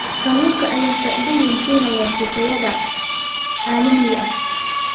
Kalluunka ayaa faa'iido weyn u keenaya suuqyada caalamiga ah.